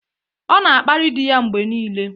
Ọ na-akparị di ya mgbe niile.